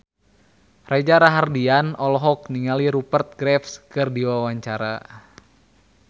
Reza Rahardian olohok ningali Rupert Graves keur diwawancara